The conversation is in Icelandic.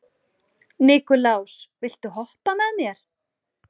Nikulás, viltu hoppa með mér?